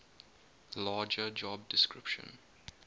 larger job description